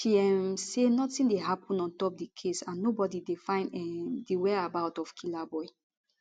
she um say notin dey happun ontop di case and nobody dey find um di whereabout of killaboi